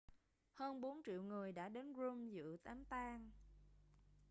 hơn bốn triệu người đã đến rome dự đám tang